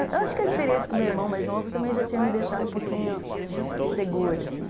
Acho que a experiência com o meu irmão mais novo também já tinha me deixado um pouquinho segura, assim.